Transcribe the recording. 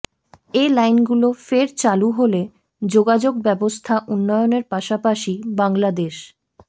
এ লাইনগুলো ফের চালু হলে যোগাযোগব্যবস্থা উন্নয়নের পাশাপাশি বাংলাদেশ